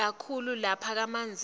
kakhulu lapha kamanzini